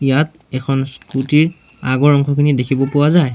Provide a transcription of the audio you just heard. ইয়াত এখন স্কুটী ৰ আগৰ অংশখিনি দেখিব পোৱা যায়।